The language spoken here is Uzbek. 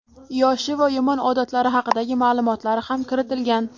yoshi va yomon odatlari haqidagi ma’lumotlari ham kiritilgan.